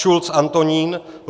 Schulz Antonín